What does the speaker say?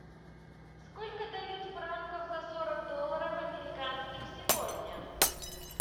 сколько дают франков за сорок долларов американских сегодня